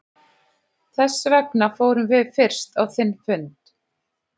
Þessvegna fórum við fyrst á þinn fund.